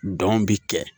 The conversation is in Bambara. Dɔn bi kɛ